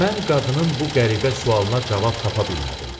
Mən qadının bu qəribə sualına cavab tapa bilmədim.